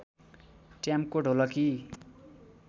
ट्याम्को ढोलकी